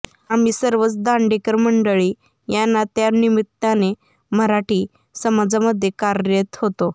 आम्ही सर्वच दांडेकर मंडळी या ना त्या निमित्ताने मराठी समाजामध्ये कार्यरत होतो